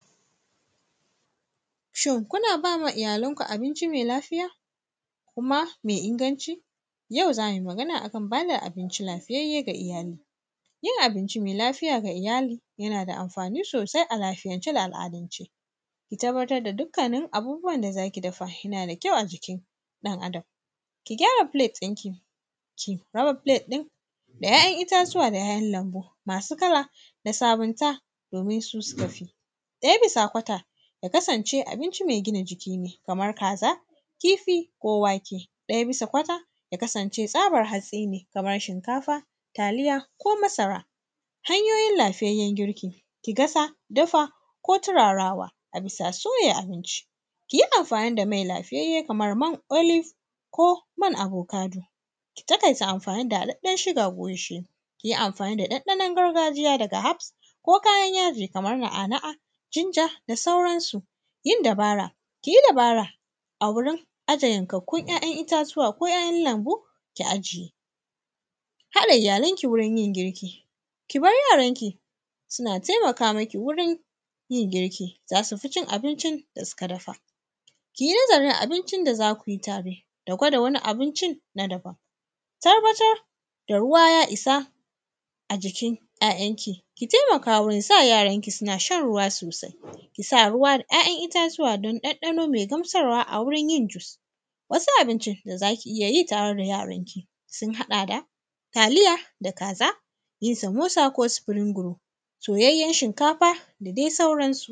Shin kuna ba wa iyalanku abinci me lafiya kuma me inganci? Yau za mu yi magana akan ba da abinci lafiyayye ga iyali, yin abinci me lafiya ga iyali yana da anfani sosai a lafiayance da al’adance, ki tabbatar da dukkanin abun da zaki dafa yana da kyau a jikin ɗan adam ki gyara plate ɗinki ki raba plate ɗin da ƴaƴan itatuwa da ƴaƴan lambu masu kala da sabunta domin su sukafi. Ɗaya bisa quater yakasance abinci me gina jikine kamar kaza, kifi, ko wake, ɗaya bisa quater ya ksance tsaban hatsine kaman shinkafa, taliya ko masara. Hanyoyin lafiyayyen girki ki gasa, dafa ko tirarawa a bisa shirya abinci kiyi anfani da mai lafiyayye kaman man olive ko man avocado ki taƙaita anfani da haɗaɗɗen sugar ko gishiri. Kiyi anfani da ɗanɗanon gargajiya daga herbs ko kayan yaji kaman na’a na’a jinja da suransu yin dabara kiyi dabara a wurin aje yankakkun ƴaƴan itatuwa ko ƴaƴan lanbu ki aje. Haɗa iyalanki wajen yin girki kibar yaranki suna taimaka miki wurin yin girki, zasufi cin abincin da suka dafa. Kiyi nazarin abincin da zakuyi tare da gwada wani abincin na daban tabbatar da ruwa ya isa a jikin ƴaƴanki ki taimaka wurin sa yaranki sunashan ruwa sosai kisa ruwa da ƴaƴan itatuwa don ɗanɗano me gamsarwa a wajenyin juice wasu abincin dazaki iyayi tare da yaranki sun haɗa da taliya da kaza kiyi samosa, ko spring roll, soyayyen shinkafa da dai sauransu.